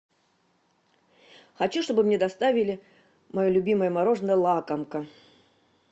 хочу чтобы мне доставили мое любимое мороженое лакомка